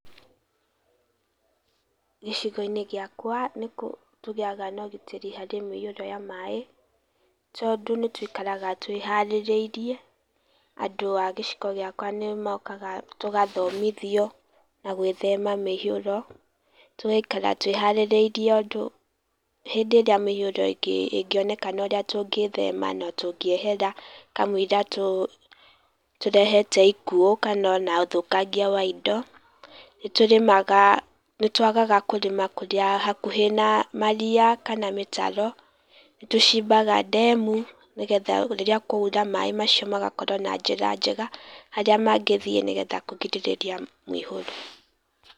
Gĩcigo-inĩ gĩakwa nĩ tũgĩaga na ũgitĩri harĩ mĩihũro ya maĩ tondũ nĩtũikaraga twĩharĩrĩirie, andũ a gĩcigo gĩakwa nĩmokaga tũgathomithio na gwĩhema mĩihũro tũgaikara twĩharĩrĩirie andũ hĩndĩ ĩrĩa mĩihũro ĩngĩ ĩngĩoneka ũrĩa tũngĩthema na tũngĩehera kamũira tũ tũrehete ikũo kana ona ũthũkangia wa indo, nĩtũrĩmaga nĩtwagaga kũrĩma kũrĩa hakuhĩ na maria kana mĩtaro nĩtũcimbaga ndemu, nĩgetha rĩrĩa kwaura maĩ macio magakorwo na njĩra njega harĩa mangĩthiĩ nĩgetha kũgirĩrĩria mũihũro.